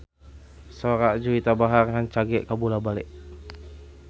Sora Juwita Bahar rancage kabula-bale